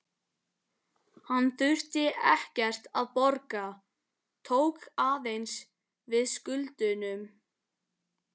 Hann þurfti ekkert að borga, tók aðeins við skuldunum.